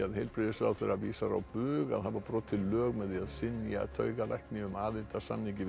heilbrigðisráðherra vísar á bug að hafa brotið lög með því að synja taugalækni um aðild að samningi við